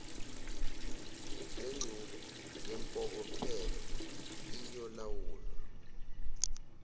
lengxube yempokophelo iyolawulwa